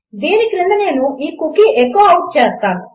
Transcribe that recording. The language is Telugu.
దీని క్రింద నేను ఈ కుకీ ఎఖో ఔట్ చేస్తాను